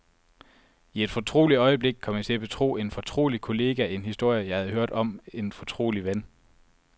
I et fortroligt øjeblik kom jeg til at betro en fortrolig kollega en historie, jeg havde hørt om en fortrolig ven.